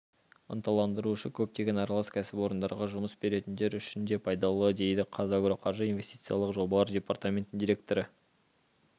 ынталандырушы көптеген аралас кәсіпорындарға жұмыс беретіндер үшін де пайдалы дейді қазагроқаржы инвестициялық жобалар департаментінің директоры